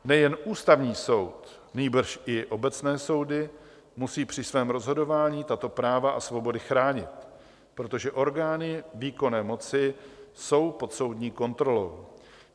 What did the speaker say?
Nejen Ústavní soud, nýbrž i obecné soudy musí při svém rozhodování tato práva a svobody chránit, protože orgány výkonné moci jsou pod soudní kontrolou.